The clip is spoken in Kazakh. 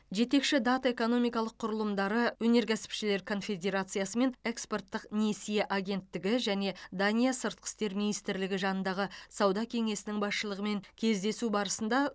жетекші дат экономикалық құрылымдары өнеркәсіпшілер конфедерациясы мен экспорттық несие агенттігі және дания сыртқы істер министрлігі жанындағы сауда кеңесінің басшылығымен кездесу барысында